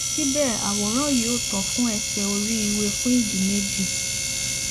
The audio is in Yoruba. síbẹ àwòrán yìí ò tó fún ẹṣẹ oríiwe fún ìdí méjì